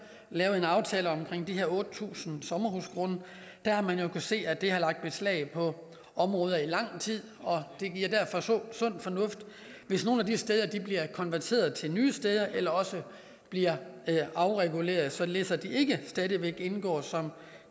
lavede en aftale om de her otte tusind sommerhusgrunde har man kunnet se at det har lagt beslag på områder i lang tid og det er derfor sund sund fornuft hvis nogle af de steder bliver konverteret til nye steder eller også bliver afreguleret således at de ikke stadig væk indgår som